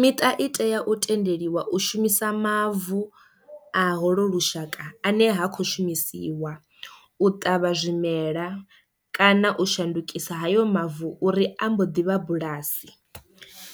Miṱa i tea u tendeliwa u shumisa mavu a holo lushaka ane ha khou shumisiwa u ṱavha zwimela kana u shandukisa hayo mavu uri ambo ḓivha bulasi,